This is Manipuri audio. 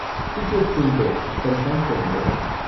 ꯇꯤꯀꯦꯠ ꯀꯨꯟꯗꯣ ꯀꯟꯐꯥꯔꯝ ꯇꯧꯕꯤꯔꯛꯑꯣ꯫